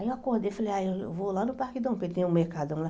Aí eu acordei e falei, ah eu vou lá no Parque Dom Pedro, tem um mercadão lá.